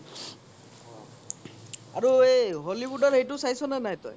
আৰু এই hollywood ৰ এইতো ছাইচ নে নাই তই